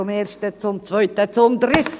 zum Ersten, zum Zweiten, zum Dritten!